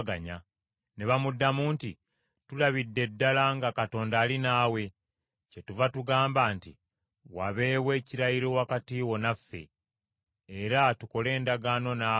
Ne bamuddamu nti, “Tulabidde ddala nga Mukama ali naawe, kyetuva tugamba nti, ‘Wabeewo ekirayiro wakati wo naffe. Era tukole endagaano naawe,